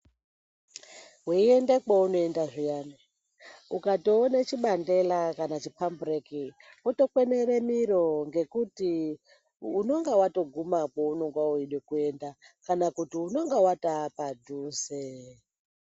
Veiende kwounoenda zviyani ukatoone chibandela kana chipambureki votokwenere miro. Ngekuti unonga vatoguma paunenge veida kuenda kana kuti unonga vatova padhuze.